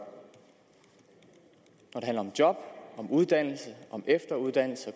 når handler om job om uddannelse om efteruddannelse